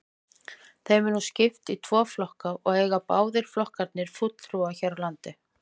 Þeim er nú skipt í tvo flokka og eiga báðir flokkarnir fulltrúa hér á landi.